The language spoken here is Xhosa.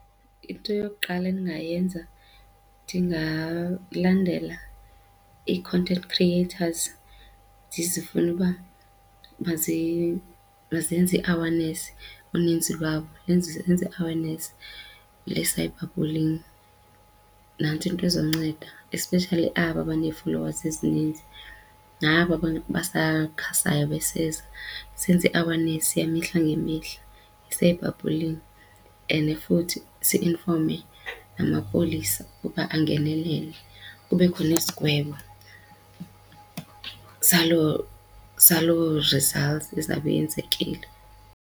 Into yokuqala endingayenza, ndingalandela ii-content creators ndizifune uba mazenze i-awareness uninzi lwabo zenze i-awareness le-cyberbullying. Nantso into izonceda especially aba banee-followes ezininzi naba basakhasayo beseza senze i-awareness yamihla ngemihla nge-cyberbullying and futhi siyinfome namapolisa ukuba angenelele kubekho nesigwebo saloo saloo results ezawube yenzekile.